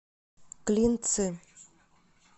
клинцы